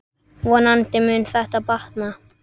Vonandi mun þetta batna.